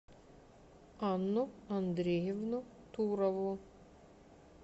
анну андреевну турову